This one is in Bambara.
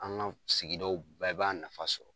An ka sigidaw bɛɛ b'a nafa sɔrɔ.